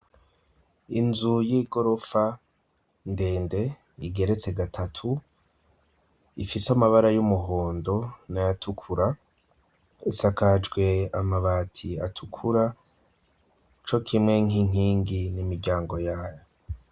Inzu y'igorofa, ndende, igeretse gatatu; ifise amabara y'umuhondo n'ayatukura, isakajwe amabati atukura co kimwe nk'inkingi n'imiryango yayo.